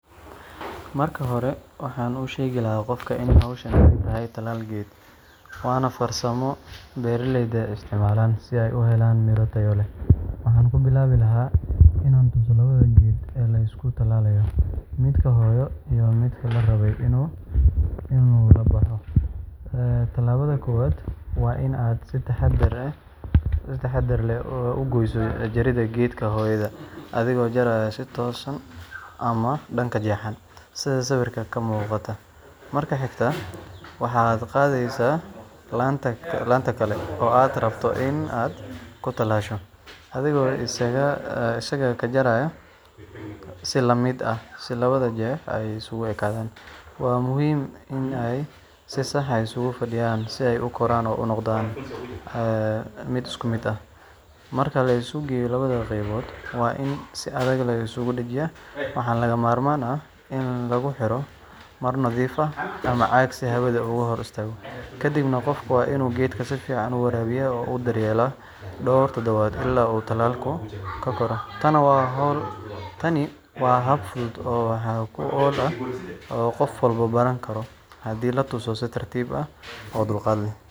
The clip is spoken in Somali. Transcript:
Marka hore, waxaan u sheegi lahaa qofka in hawshan ay tahay tallaal geed, waana farsamo beeraleyda isticmaalaan si ay u helaan miro tayo leh. Waxaan ku bilaabi lahaa inaan tuso labada geed ee la isku tallaalayo: midka hooyo iyo midka la rabay inuu la baxo. Tallaabada koowaad waa in aad si taxaddar leh u gooyso jirridda geedka hooyada adigoo jaraya si toosan ama dhanka jeexan, sida sawirka ka muuqata. Marka xigta, waxaad qaadaysaa laanta kale oo aad rabto in aad ku tallaasho, adigoo isagana ka jaraya si la mid ah si labada jeex ay isugu ekaadaan. Waa muhiim in ay si sax ah isugu fadhiyaan si ay u koraan oo u noqdaan mid isku mid ah. Marka la isu geeyo labada qaybood, waa in si adag la isugu dhejiyaa, waxaana lagama maarmaan ah in lagu xiro maro nadiif ah ama caag si hawadu uga hor istaagto. Kadibna, qofka waa inuu geedka si fiican u waraabiyaa oo u daryeelaa dhowr toddobaad ilaa uu tallaalku ku koro. Tani waa hab fudud oo wax ku ool ah oo qof walba baran karo haddii la tuso si tartiib ah oo dulqaad leh.